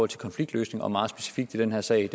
til konfliktløsning og meget specifikt i den her sag